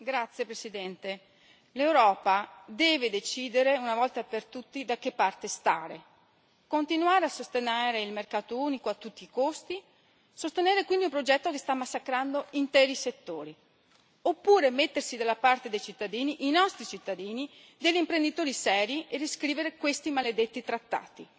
Signora Presidente, onorevoli colleghi, l'Europa deve decidere una volta per tutte da che parte stare se continuare a sostenere il mercato unico a tutti i costi e sostenere quindi un progetto che sta massacrando interi settori, oppure se mettersi dalla parte dei cittadini, i nostri cittadini, degli imprenditori seri e riscrivere questi maledetti trattati.